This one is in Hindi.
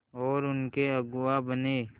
और उनके अगुआ बने